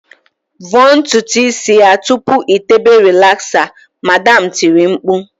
"Vọọ ntutu isi ya tupu ị tébè rịlaxa" Madam tiri mkpu